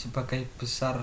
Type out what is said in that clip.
sebagian besar